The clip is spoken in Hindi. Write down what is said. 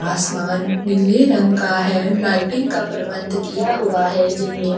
आसमान नीले रंग का है लाइटिंग का प्रबंध किया हुआ है जिनमें --